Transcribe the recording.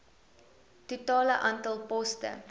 totale aantal poste